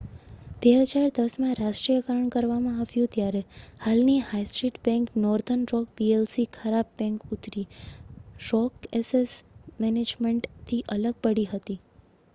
2010માં રાષ્ટ્રીયકરણ કરવામાં આવ્યું ત્યારે હાલની high street bank northern rock PLC 'ખરાબ બેંક' ઉત્તરી રોક એસેટ મેનેજમેન્ટથી અલગ પડી હતી